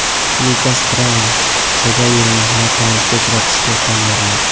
Lukas Braun: Chagayevni nokautga uchratishga tayyorman.